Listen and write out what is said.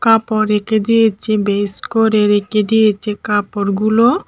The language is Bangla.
কাপড় রেখে দিয়েছে ভেজ করে রেখে দিয়েছে কাপড়গুলো।